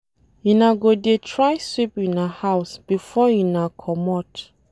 Una go dey try sweep una house before una comot.